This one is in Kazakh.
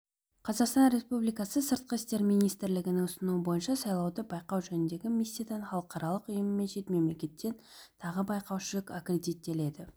қазақстан республикасы сыртқы істер министрлігінің ұсынуы бойынша сайлауды байқау жөніндегі миссиядан халықаралық ұйым мен шет мемлекеттен тағы байқаушы аккредиттелді